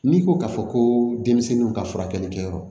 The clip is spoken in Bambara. N'i ko k'a fɔ ko denmisɛnninw ka furakɛli kɛyɔrɔ